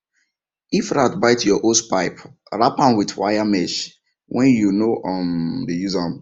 if rat bite your hosepipe wrap am with wire mesh when you no um dey use am